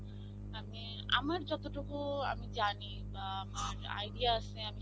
আমি, আমার যতটুকু আমি জানি বা আমার idea আসে আমি